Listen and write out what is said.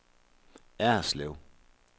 Erslev